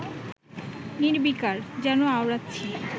নির্বিকার, যেন আওড়াচ্ছি